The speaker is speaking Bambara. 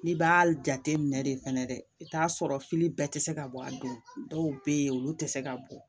N'i b'a jate minɛ de fɛnɛ dɛ i t'a sɔrɔ fili bɛɛ tɛ se ka bɔ a don dɔw bɛ yen olu tɛ se ka bɔ